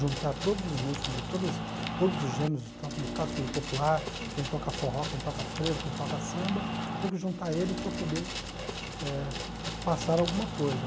juntar todos os músicos de todas todos os gêneros, tanto do clássico quanto do popular, quem toca forró, quem toca frevo, quem toca samba, tem que juntar eles para poder eh passar alguma coisa.